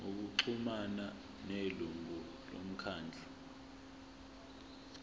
ngokuxhumana nelungu lomkhandlu